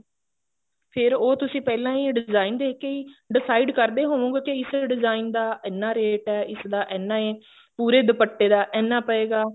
ਫੇਰ ਉਹ ਤੁਸੀਂ ਪਹਿਲਾਂ ਹੀ design ਦੇਖ ਕੇ ਹੀ decide ਕਰਦੇ ਹੋਵੋਗੇ ਕਿ ਇਸ design ਦਾ ਇੰਨਾ rate ਐ ਇਸਦਾ ਇੰਨਾ ਐ ਪੂਰੇ ਦੁਪੱਟੇ ਦਾ ਇੰਨਾ ਪਏਗਾ